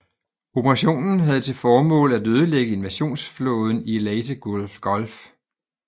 Operationen havde til formål at ødelægge invasionsflåden i Leyte Gulf